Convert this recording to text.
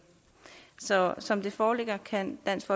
så som det foreligger kan dansk